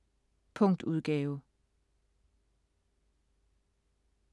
Punktudgave